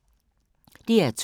DR2